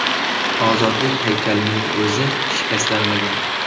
Ozodlik haykalining o‘zi shikastlanmagan.